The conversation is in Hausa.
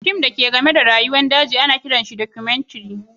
Fims da ke game da rayuwar daji ana kiran su documentaries.